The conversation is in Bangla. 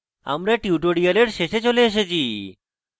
আমরা tutorial শেষে চলে এসেছি